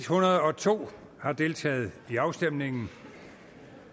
hundrede og to har deltaget i afstemningen